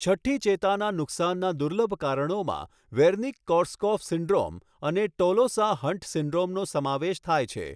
છઠ્ઠી ચેતાના નુકસાનના દુર્લભ કારણોમાં વેર્નિક કોર્સકોફ સિન્ડ્રોમ અને ટોલોસા હન્ટ સિન્ડ્રોમનો સમાવેશ થાય છે.